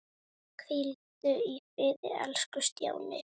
Hvíldu í friði elsku Stjáni.